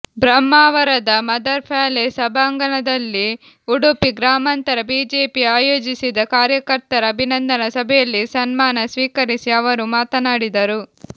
ಬ್ರಹ್ಮಾವರದ Mother Palace ಸಭಾಂಗಣದಲ್ಲಿ ಉಡುಪಿ ಗ್ರಾಮಾಂತರ BJP ಆಯೋಜಿಸಿದ ಕಾರ್ಯಕರ್ತರ ಅಭಿನಂದನಾ ಸಭೆಯಲ್ಲಿ ಸಮ್ಮಾನ ಸ್ವೀಕರಿಸಿ ಅವರು ಮಾತನಾಡಿದರು